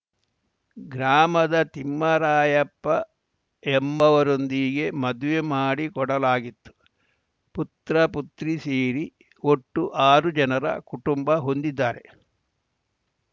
ಗ್ರಾಮದ ತಿಮ್ಮರಾಯಪ್ಪ ಎಂಬವರೊಂದಿಗೆ ಮದುವೆ ಮಾಡಿಕೊಡಲಾಗಿತ್ತು ಪುತ್ರ ಪುತ್ರಿ ಸೇರಿ ಒಟ್ಟು ಆರು ಜನರ ಕುಟುಂಬ ಹೊಂದಿದ್ದಾರೆ